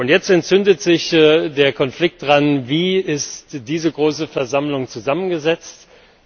Jetzt entzündet sich der Konflikt daran, wie diese große Versammlung zusammengesetzt ist.